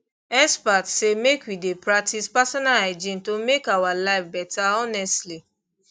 experts say make we dey practice personal hygiene to make our life better honestly